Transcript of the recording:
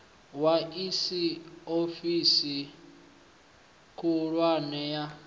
wa iss ofisini khulwane ya